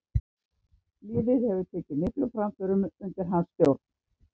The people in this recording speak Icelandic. Liðið hefur tekið miklum framförum undir hans stjórn.